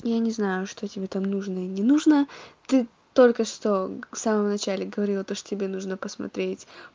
я не знаю что тебе там нужно и не нужно ты только что в самом начале говорила то что тебе нужно посмотреть